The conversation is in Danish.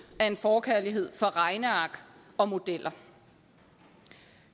af en forkærlighed for regneark og modeller